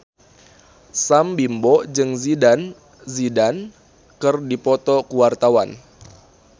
Sam Bimbo jeung Zidane Zidane keur dipoto ku wartawan